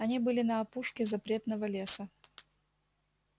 они были на опушке запретного леса